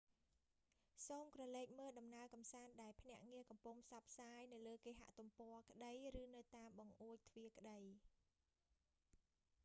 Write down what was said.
សូមក្រឡេកមើលដំណើរកំសាន្តដែលភ្នាក់ងារកំពុងផ្សព្វផ្សាយ នៅលើគេហទំព័រក្តីឬនៅតាមបង្អួចទ្វាក្តី